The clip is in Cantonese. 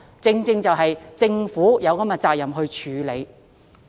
政府真的有責任處理。